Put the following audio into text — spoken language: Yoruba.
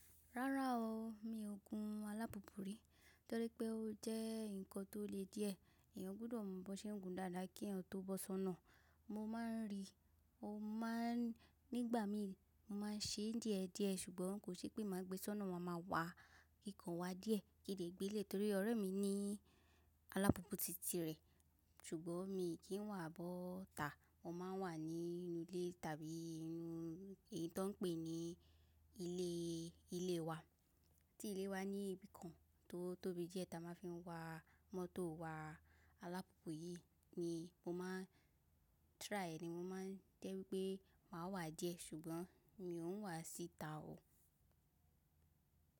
Rárá o, mi ò gun alápopọ̀ rí, torí pé ó jẹ́ nǹkan tó le díẹ̀. Èèyàn gbọ́dọ̀ mọ bí ṣe ń gun dáadáa kí eyan tó bọ́ sọ́nà. Mo máa ń rí, ó máa ń nígbà mi mo máa ń ṣe díẹ̀ díẹ̀ ṣùgbọ́n kò ṣe pé màá gbé sọ́nà wa máa wá kíkan wa díẹ̀. Kí n lè gbilẹ̀ torí ọ̀rẹ́ mi ní alápopọ̀ títí rẹ̀. Ṣùgbọ́n mi kì í wà bó ta, mo ma wà ní inú ilé tàbí inú èyí tó ń pè ní ilé ilé wa. Tí ilé wa ní ibìkan tó tóbi díẹ̀ ta máa fi ń wa mọ́tò wa. Alápopọ̀ yìí ni mo máa ń try, ni mo máa ń tẹ́ wípé màá wà díẹ̀ ṣùgbọ́n mi ò wà síta o.